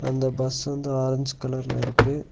அந்த பஸ் வந்து ஆரஞ்ச் கலர்ல இருக்கு.